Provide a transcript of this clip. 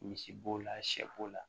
Misi b'o la sɛ bo la